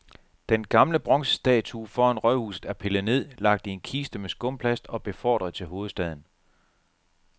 Den gamle bronzestatue foran rådhuset er pillet ned, lagt i en kiste med skumplast og befordret til hovedstaden.